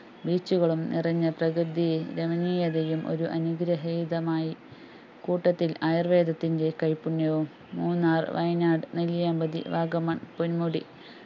Beach കളും നിറഞ്ഞ പ്രകൃതി രമണീയതയും ഒരു അനുഗ്രഹീതമായി കൂട്ടത്തില്‍ ആയുര്‍വേദത്തിന്റെ കൈപുണ്യവും മൂന്നാര്‍ വയനാട് നെല്ലിയാമ്പതി വാഗമൺ പൊന്മുടി